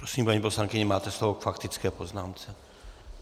Prosím, paní poslankyně, máte slovo k faktické poznámce.